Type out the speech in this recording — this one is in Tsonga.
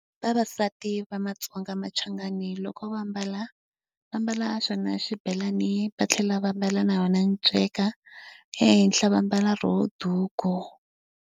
Vavasati va maTsonga machangani loko va ambala, va ambala xona xibelani va tlhela va ambala na yona nceka. Ehenhla va mbala rona duku.